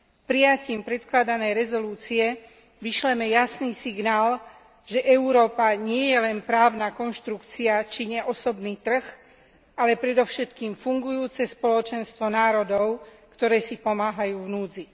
Prijatím predkladaného uznesenia vyšleme jasný signál, že Európa nie je len právna konštrukcia či neosobný trh, ale predovšetkým fungujúce spoločenstvo národov, ktoré si pomáhajú v núdzi.